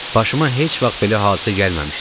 Başıma heç vaxt belə hadisə gəlməmişdi.